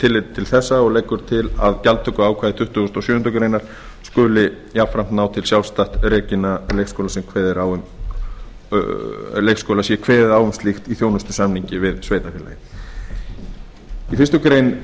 tilliti til þessa og leggur til að gjaldtökuákvæði tuttugasta og sjöundu grein skuli jafnframt ná til sjálfstætt rekinna leikskóla sé kveðið á um slíkt í þjónustusamningi við sveitarfélagið í fyrstu málsgrein